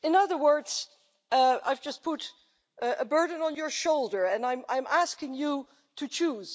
In other words, I have just put a burden on your shoulder and I am asking you to choose.